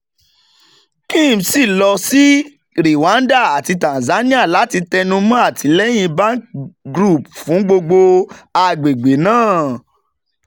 kim si lọ si rwanda ati tanzania lati tẹnumọ atilẹyin bank group fun gbogbo agbegbe naa.